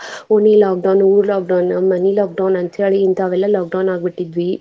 ಓಣಿ lockdown ಊರ್ lockdown ಮನಿ lockdown ಅಂತೇಳಿ ಇಂತವೆಲ್ಲ lockdown ಆಗ್ಬಿಟ್ಟಿದ್ವಿ.